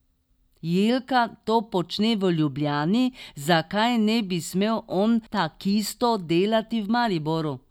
Jelka to počne v Ljubljani, zakaj ne bi smel on takisto delati v Mariboru?